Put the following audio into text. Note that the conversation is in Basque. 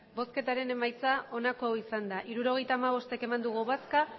emandako botoak hirurogeita hamabost bai